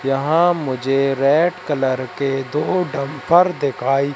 यहां मुझे red colour के दो डंपर दिखाई--